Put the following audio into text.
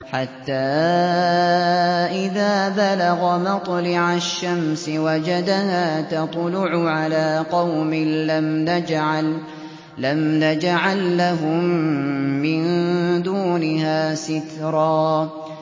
حَتَّىٰ إِذَا بَلَغَ مَطْلِعَ الشَّمْسِ وَجَدَهَا تَطْلُعُ عَلَىٰ قَوْمٍ لَّمْ نَجْعَل لَّهُم مِّن دُونِهَا سِتْرًا